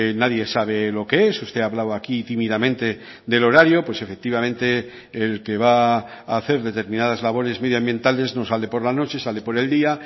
nadie sabe lo que es usted hablaba aquí tímidamente del horario pues efectivamente el que va a hacer determinadas labores medioambientales no sale por la noche sale por el día